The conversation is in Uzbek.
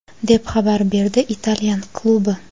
deb xabar berdi italyan klubi.